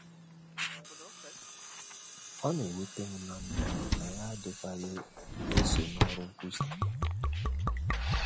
Ọ na - ewute m na mụ na ya adịkwaghị eso n’ọrụ nkwusa.